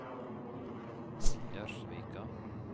Gjerdsvika